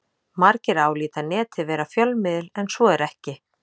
Margir álíta Netið vera fjölmiðil en svo er ekki.